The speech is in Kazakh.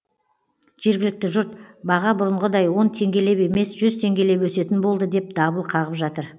жергілікті жұрт баға бұрынғыдай он теңгелеп емес жүз теңгелеп өсетін болды деп дабыл қағып жатыр